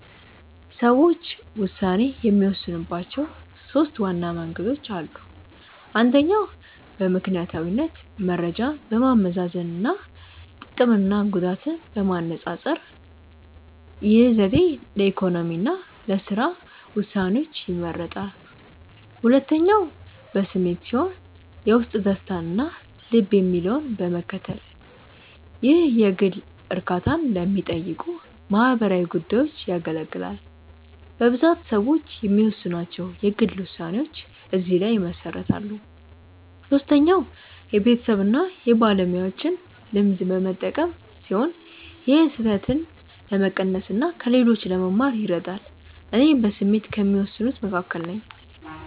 ሰዎች ውሳኔ የሚወስኑባቸው ሦስት ዋና መንገዶች አሉ። አንደኛው በምክንያታዊነት መረጃን በማመዛዘን እና ጥቅምና ጉዳትን በማነፃፀር። ይህ ዘዴ ለኢኮኖሚ እና ለሥራ ውሳኔዎች ይመረጣል። ሁለተኛው በስሜት ሲሆን የውስጥ ደስታን እና ልብ የሚለውን በመከተል። ይህ የግል እርካታን ለሚጠይቁ ማህበራዊ ጉዳዮች ያገለግላል። በብዛት ሰዎች የሚወስኗቸው የግል ውሳኔዎች እዚህ ላይ ይመሰረታሉ። ሶስተኛው የቤተሰብን እና የባለሙያዎችን ልምድ በመጠቀም ሲሆን ይህም ስህተትን ለመቀነስ እና ከሌሎች ለመማር ይረዳል። እኔ በስሜት ከሚወስኑት መካከል ነኝ።